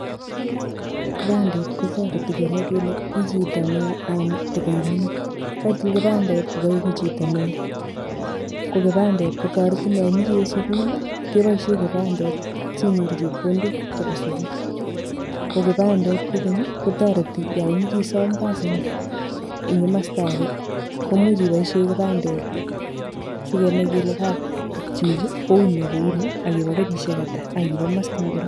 Kipandet kotoreti kenai kele ii chito neo anan toko imining, ko kaitil kipandet kokaieku chito neo, ko kipandet kotoretin yo imoche iwe sukul kepoishe kipandet sinyoru chepkondok chebo sukul. Ko kipandet kokeny kotoreti yo imoche isom kasi eng kimasta ake komuch ipoishe kipande sikenai kele chichi kouni ak kouni ak ipo kenyisiek ata aki bo masta ngiro.